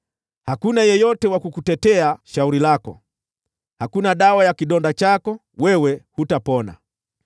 Hakuna yeyote wa kukutetea shauri lako, hakuna dawa ya kidonda chako, wewe hutapona.